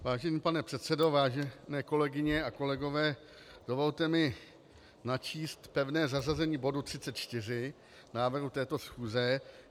Vážený pane předsedo, vážené kolegyně a kolegové, dovolte mi načíst pevné zařazení bodu 34 návrhu této schůze.